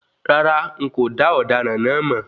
Rárá,n kò dá ọdaràn náà máa.